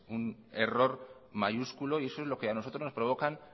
un error mayúsculo y eso es lo que a nosotros nos provoca